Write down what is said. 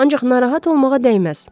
Ancaq narahat olmağa dəyməz.